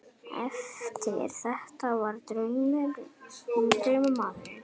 Eftir þetta hvarf draumamaðurinn.